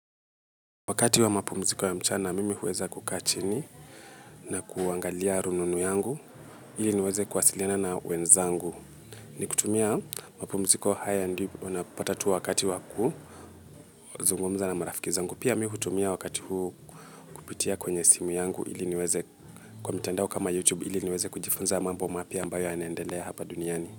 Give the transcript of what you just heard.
Wakati wa mapumziko ya mchana, mimi huweza kukaa chini na kuangalia rununu yangu, ili niweze kuwasiliana na wenzangu. Ni kutumia mapumziko haya ndi unapotatu wakati waku, zungomza na marafiki zangu. Pia mi hutumia wakati huu kupitia kwenye simu yangu ili niweze kwa mtandao kama you tube ili niweze kujifunza mabo mapya ambayo yanaendelea hapa duniani.